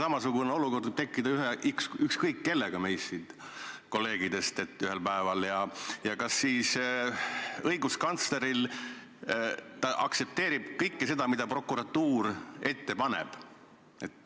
Samasugune olukord võib ühel päeval tekkida ükskõik kellega meist siin ja kas õiguskantsler peab aktsepteerima kõike, mis prokuratuur ette paneb?